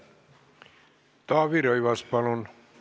Taavi Rõivas, palun!